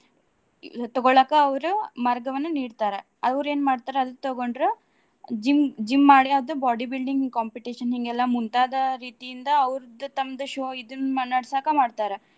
ತಗೋಳಾಕ ಅವ್ರು ಮಾರ್ಗವನ್ನ ನಿಡ್ತಾರ. ಅವ್ರ ಏನ್ ಮಾಡ್ತಾರ ಅದು ತಗೊಂಡ್ರ gym gym ಮಾಡೆ ಅದ bodybuilding competition ಹಿಂಗೆಲ್ಲಾ ಮುಂತಾದ ರೀತಿಯಿಂದ ಅವ್ರದ್ದ ತಮ್ಮದ್ show ಇದನ್ನ ನಡ್ಸಾಕ ಮಾಡ್ತಾರ.